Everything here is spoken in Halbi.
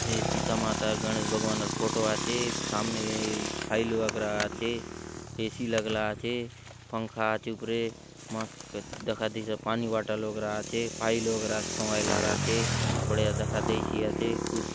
ये सीता माता और गणेश भगवान र फोटो आछे सामने फाइल वगैरा आछे ए सी लागला आछे पंखा आचे उपरे मस्त दखा देयसि आचे पानी बोटल वगैरा आछे फाइल वगैरा सोंगाय ला र आचे बढ़िया दखा देयसि आछे कुर्सी --